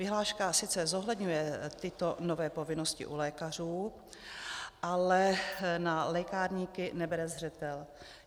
Vyhláška sice zohledňuje tyto nové povinnosti u lékařů, ale na lékárníky nebere zřetel.